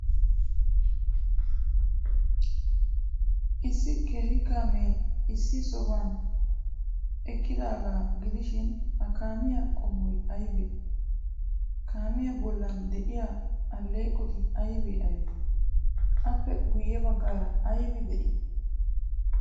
Issi qeeri kaamee issi sohuwan eqqidaagaa gidishin, ha kaamiyaa qommoy aybee? Kaamiya bollan de'iyaa alleeqoti aybee aybee? Appe guyye baggaara aybi de'ii?